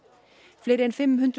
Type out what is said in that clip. fleiri en fimm hundruð